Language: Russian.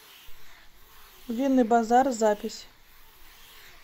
винный базар запись